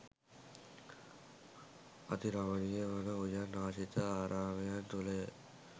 අති රමණීය වන උයන් ආශ්‍රිත ආරාමයන් තුළය.